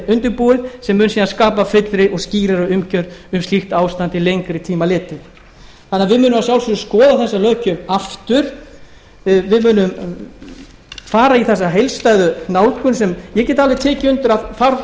undirbúin sem mun síðan skapa fyllri og skírari umgjörð um slíkt ástand til lengri tíma litið þannig að við munum að sjálfsögðu skoða þessa löggjöf aftur við munum fara í þessa heildstæðu nálgun sem ég get alveg tekið undir að þarf